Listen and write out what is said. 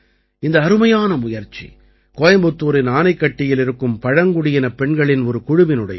இந்த அருமையான முயற்சி கோயம்புத்தூரின் ஆனைக்கட்டியில் இருக்கும் பழங்குடியினப் பெண்களின் ஒரு குழுவினுடையது